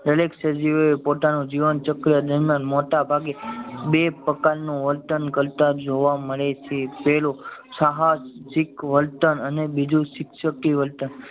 દરેક સજીવો એ પોતાનું જીવન ચક્ર દરમિયાન મોટા ભાગે બે પ્રકાર નું વર્તન કરતા જોવા મળે છે પેલું સાહસિક વર્તન અને બીજું સીક્ષ્કી વર્તન